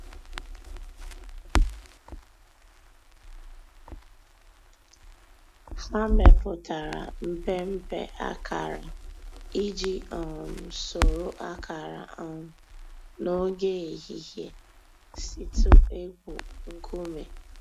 Hà mẹpùtárà mpémpé àkárà íjì um sòrò àkárà um n'ògè èhìhìè’s ị̀tụ̀ ègwù ńkùmé̀.